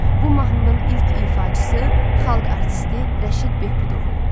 Bu mahnının ilk ifaçısı Xalq artisti Rəşid Behbudov olub.